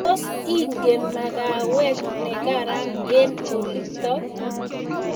tos ingen magawet ne karan eng olitok